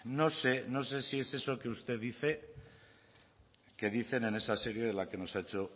no sé no sé si es eso que usted dice que dicen en esa serie de la que nos ha hecho